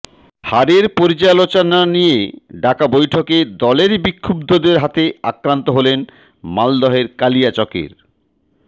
হারের পর্যালোচনা নিয়ে ডাকা বৈঠকে দলেরই বিক্ষুব্ধদের হাতে আক্রান্ত হলেন মালদহের কালিয়াচকের